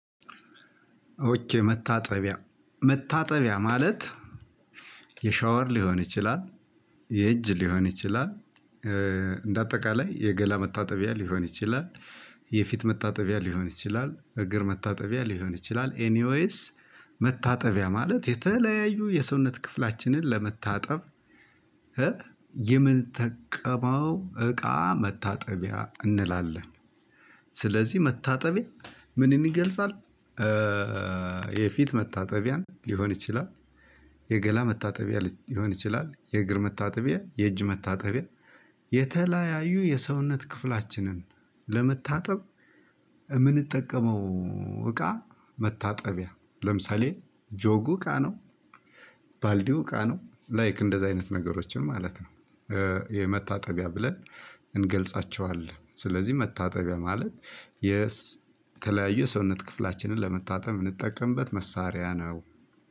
ኦኬ መታጠቢያ መታጠቢያ ማለት የሻወር ሊሆን ይቺላል የእጅ ሊሆን ይቺላል። እንደ አጠቃላይ የገላ መታጠቢያ ሊሆን ይቺላል። የፊት መታጠቢያ ሊሆን ይቺላል እግር መታጠቢያ ሊሆን ይቺላል ኤኒዌይስ መታጠቢያ ማለት የተለያዩ የሰውነት ክፍላችንን ለመታጠብ። የምንጠቀመው እቃ መታጠቢያ እንላለን። ስለዚህ መታጠቢያ ምንን ይገልጻል? የፊት መታጠቢያ ሊሆን ይችላል። የገላ መታጠቢያ ሊሆን ይችላል የእግር መታጠቢያ የእጅ መታጠቢያ የተለያዩ የሰውነት ክፍላችንን ለመታጠብ። እ ምንጠቀመው እቃ መታጠቢያ ለምሳሌ ጆጉ እቃ ነው። ባልዲው እቃ ነው ላይክ እንደዚህ አይነት ነገሮችን ማለት ነው። የመታጠቢያ ብለን እንገልጻቸዋለን ስለዚህ መታጠቢያ ማለት። የተለያዩ የሰውነት ክፍላችንን ለመታጠብ የምንጠቀምበት መሳሪያ ነው።